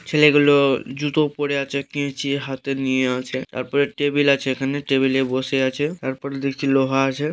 ছেলেগুলো- জুতো পরে আছে কেঁচি হাতে নিয়ে আছে তারপর টেবিল আছে এখানে টেবিলে বসে আছে তারপর দেখছি লোহা আছে ।